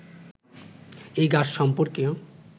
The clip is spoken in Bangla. এই গাছ সম্পর্কে